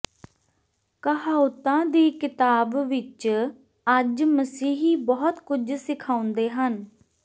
ਕਹਾਉਤਾਂ ਦੀ ਕਿਤਾਬ ਵਿਚ ਅੱਜ ਮਸੀਹੀ ਬਹੁਤ ਕੁਝ ਸਿਖਾਉਂਦੇ ਹਨ